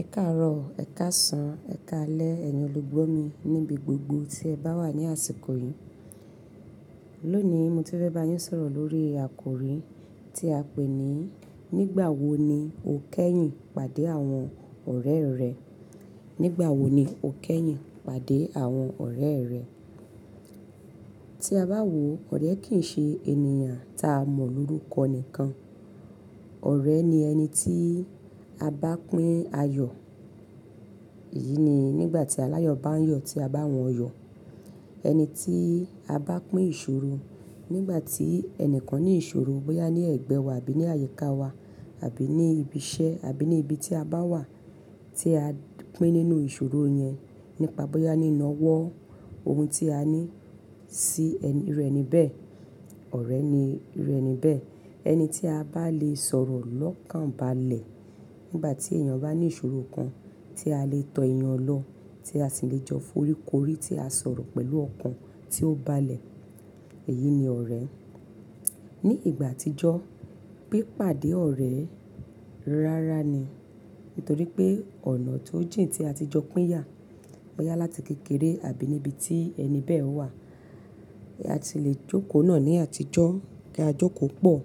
Ẹ káàárọ̀ o, ẹ̀ káàsán, ẹ̀ káalẹ́, ẹ̀yin olùgbọ̀ mi níbi gbogbo tí ẹ bá wà ní àsìkò yìí. Lónìí, mo ti fẹ́ bá yín sọ̀rọ̀ lórí àkòrí tí a pè ní "Nígbàwo ni o kẹ́yìn pàdé àwọn ọ̀rẹ́ rẹ?" Nígbàwo ni o kẹ́yìn pàdé àwọn ọ̀rẹ́ rẹ? Tí a bá wò ó, ọ̀rẹ́ kì í ṣe ènìyàn taa mọ̀ ní orúkọ nìkan. Ọ̀rẹ́ ni ẹni tí a bá pín ayọ̀. Èyí ni nígbà tí aláyọ̀ bá ń yọ̀, tí a bá wọ́n yọ̀. Ẹni tí a bá pín ìṣòro. Nígbà tí ẹnìkan ní ìṣòro, bóyá ní ẹ̀gbẹ́ wa àbí ní àyíká wa àbí ní ibi iṣẹ́ àbí ní ibi tí a bá wà tí a pín nínú ìṣòro yẹn nípa bóyá ni iná wọ́ ohun tí a ní sí ẹni iru ẹni bẹ́ẹ̀, ọ̀rẹ́ ni iru ẹni bẹ́ẹ̀. Ẹni tí a bá lè sọ̀rọ̀ lọ́kànbalẹ̀ nígbà tí èèyàn bá ní ìṣòro kan tí a lè tọ ìyàn lọ, tí a sì lè jọ foríkórí tí a sọ̀rọ̀ pẹ̀lú ọ̀kan tí ó bá lẹ̀, èyí ni ọ̀rẹ́. Ní ìgbà àtijọ́, pipàdé ọ̀rẹ́ rárá ni. Nítorí pé ọ̀nà tó jìn tí a ti jọ pín yà, bóyá láti kékeré àbí níbi tí ẹni bẹ́ẹ̀ wà. Bí a ti lè jókòó náà ní àtijọ́, kí á jókòó pọ̀,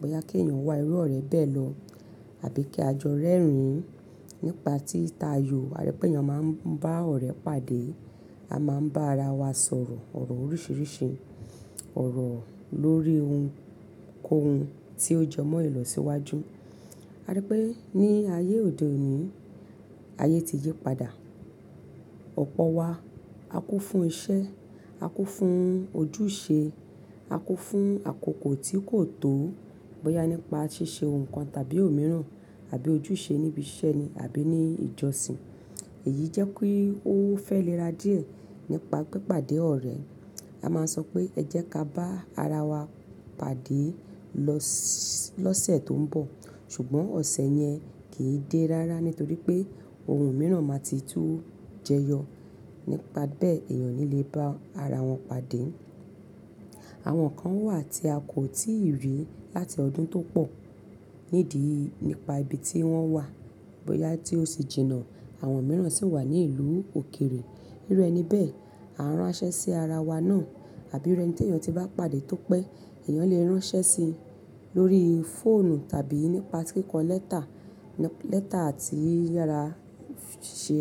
bóyá kí èèyàn wá irú ọ̀rẹ́ bẹ́ẹ̀ lọ àbí kí á jọ rẹ́rìn-ín nípa títayọ̀. A rí pé èèyàn máa ń bá ọ̀rẹ́ pàdé, a máa ń bá ara wa sọ̀rọ̀ ọ̀rọ̀ oríṣiríṣi, ọ̀rọ̀ lórí ohun kó ohun tí ó jemọ́ ìlọ̀síwájú. A rí pé ní ayé òde òní, ayé ti yí padà. Ọ̀pọ̀ wa á kú fún iṣẹ́, á kú fún ojúṣe, á kú fún àkókò tí kò tó bóyá nípa ṣíṣe ohun kan tàbí òmíràn àbí ojúṣe níbi iṣẹ́ ni àbí ní ìjọsìn. Èyí jẹ́ pé ó fẹ́ lẹ́ra díẹ̀ nípa pipàdé ọ̀rẹ́. A máa ń sọ pé ẹ jẹ́ ká bá ara wa pàdé lọ́sẹ̀ tó ń bọ̀. Ṣùgbọ́n ọ̀sẹ̀ yẹn kì í dé rárá nítorí pé ohun mìíràn máa ti tú jẹyọ. Nípa bẹ́ẹ̀, èèyàn o ni lè bá ara wọn pàdé. Àwọn kan wà tí a kò tíì rí láti ọdún tó pọ̀ nídi nípa ibi tí wọ́n wà, bóyá tí ó se jìnà àwọn mìíràn si wà ní ìlú òkèrè. Irú ẹni bẹ́ẹ̀, à ń ránṣẹ́ sí ara wa náà àbí irú ẹni t'èèyàn ti bá pàdé tó pẹ́, èèyàn lè ránṣẹ́ sí i lórí fóònù tàbí nípa kíkọ lẹ́tà, lẹ́tà ti i yàrá ṣe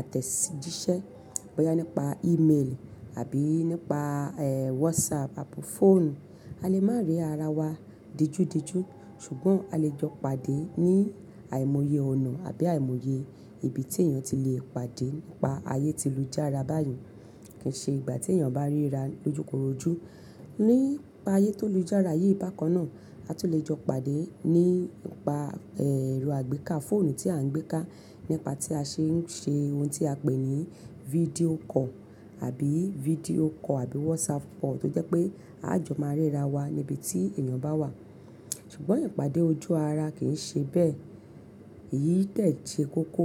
àtẹ̀jíṣẹ́, bóyá nípa email àbí nípa, ẹ́, WhatsApp àbò fóònù. A lè má rí ara wa dijú dijú, ṣùgbọ́n a lè jọ pàdé ní àìmọye ọ̀nà àbí àìmọye ibi tí èèyàn ti lè pàdé nípa ayé tí ń lùjára báyìí. Kì í ṣe ìgbà tí èèyàn bá ríra lójukorojú. Nípa ayé tó ń lùjára yìí bá kan náà, a lè jọ pàdé nípa, ẹ́, ẹ̀rọ àgbéká fóònù tí a ń gbéká, nípa tí a ṣe ń ṣe ohun tí a pè ní video call àbí video call àbí WhatsApp call tó jẹ́ pé a jọ máa ríra wa níbi tí èèyàn bá wà. Ṣùgbọ́n ìpàdé ojú ara kì í ṣe bẹ́ẹ̀. Èyí de se kókó.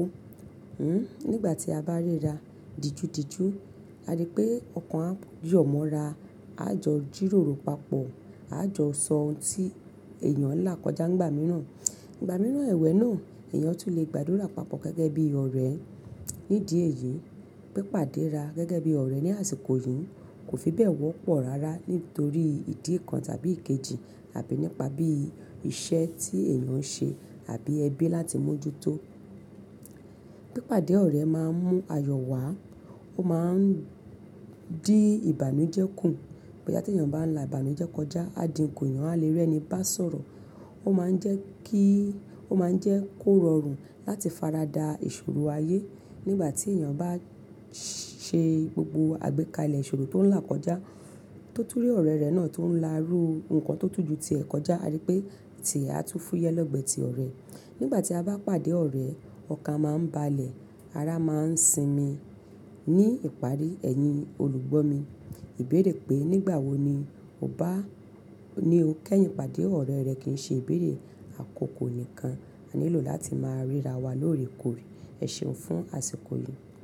Hmm, nígbà tí a bá ríra dijú dijú, a rí pé ọ̀kan á yọ̀ mọ́ra, a jọ jíróró papọ̀, a jọ sọ ohun tí èèyàn ń là kọjá nígbà mìíràn. Nígbà mìíràn ẹ̀wẹ̀ náà èèyàn sì lè gbàdúrà papọ̀ gẹ́gẹ́ bí ọ̀rẹ́. Nídi èyí pipàdéra gẹ́gẹ́ bí ọ̀rẹ́ ní àsìkò yìí kò fi bẹ́ẹ̀ wọ́pọ̀ rárá nítorí ìdí kan tàbí ikejì àbí nípa bí iṣẹ́ tí èèyàn ń ṣe àbí ẹbí láti mójútó. Pípàdé ọ̀rẹ́ máa ń mú ayọ̀ wá, ó máa ń dí ìbànújẹ́ kù. Bóyá tí èèyàn bá ń là ìbànújẹ́ kọjá, a di nko èèyàn eeyan a lè rẹni bá sọ̀rọ̀. Ó máa ń jẹ́ kí, ó máa ń jẹ́ kó rọrùn láti farada ìṣòro ayé nígbà tí èèyàn bá ṣẹ gbogbo àgbékalẹ̀ ìṣòro tó ń là kọjá tó tún rí ọ̀rẹ́ rẹ náà tó ń láru nǹkan tó tún ju tí ẹ kọjá, a rí pé tìẹ́ á tú fúyẹ́ legbe tí ọ̀rẹ́. Nígbà tí a bá pàdé ọ̀rẹ́, ọkàn máa ń balẹ̀, ara máa ń sinmi. Ní ìparí, ẹ̀yin olùgbọ̀ mi, ìbéèrè pé nígbàwo ni o bá, ni o kẹ́yìn pàdé ọ̀rẹ́ rẹ kì í ṣe ìbéèrè àkókò nìkan. A nílò láti máa ríra wa lóòrèkóòrè. Ẹ ṣeun fún àsìkò yìí.